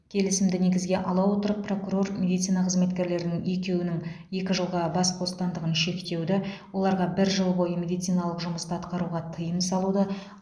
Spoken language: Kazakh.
келісімді негізге ала отырып прокурор медицина қызметкерлерінің екеуінің екі жылға бас бостандығын шектеуді оларға бір жыл бойы медициналық жұмысты атқаруға тыйым салуды